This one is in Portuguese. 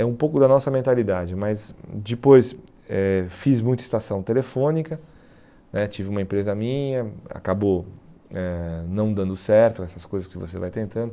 É um pouco da nossa mentalidade, mas depois eh fiz muita estação telefônica né, tive uma empresa minha, acabou eh não dando certo, essas coisas que você vai tentando.